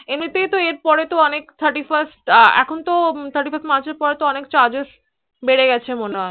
এমনি তেই তো এর পরে তো অনেক Thirty first এখন তো Thirty first March এর পরে তো অনেক Charges বেড়ে গেছে মনে হয়